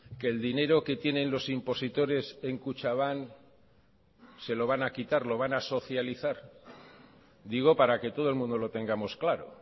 que el dinero que tienen los impositores en kutxabank se lo van a quitar lo van a socializar digo para que todo el mundo lo tengamos claro